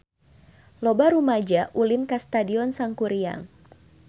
Loba rumaja ulin ka Stadion Sangkuriang